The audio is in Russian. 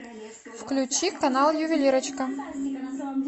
включи канал ювелирочка